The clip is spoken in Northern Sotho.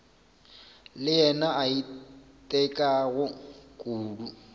le yena a itekago kudu